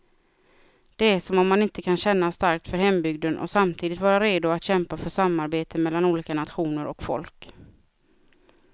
Det är som om man inte kan känna starkt för hembygden och samtidigt vara redo att kämpa för samarbete mellan olika nationer och folk.